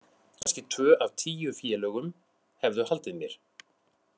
Kannski tvö af tíu félögum hefðu haldið mér.